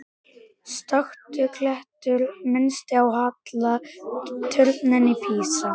Stöku klettur minnti á halla turninn í Písa.